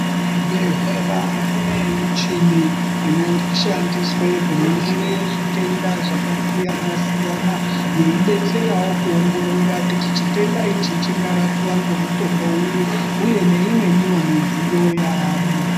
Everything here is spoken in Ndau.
Muzvibhedhlera mune michini inoshandiswe kuningire zvitenda zvakasiyana siyana yei detserawo kuongorora kuona kuti chitenda ichi chingarapiwa ngemutombo uri uye neimweniwo midziyo aamhu.